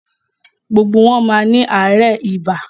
Gbogbo wọn má ni aarẹ ìbá.